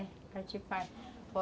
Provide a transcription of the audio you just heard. É, a gente faz.